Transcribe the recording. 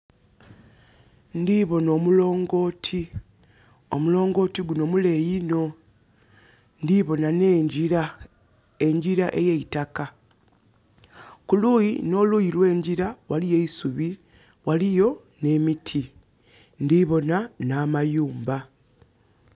Ndiboona omulongoti. Omulongoti guno muleeyi inho. Ndiboona ne njira, enjira eyeitakka. Kuluyi no luyi olw' enjira waliwo eisubi waliyo ne miti. Ndiboona na mayumba